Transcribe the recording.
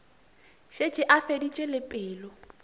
šetše a feditše le pelo